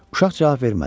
Uşaq cavab vermədi.